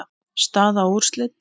Staða og úrslit.